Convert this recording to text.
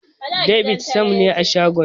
David Sam ne a shagon.